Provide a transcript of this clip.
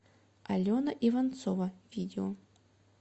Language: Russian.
алена иванцова видео